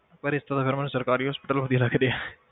ਪਰ ਇਸ ਤੋਂ ਜ਼ਿਆਦਾ ਮੈਨੂੰ ਸਰਕਾਰੀ hospital ਵਧੀਆ ਲੱਗਦੇ ਆ।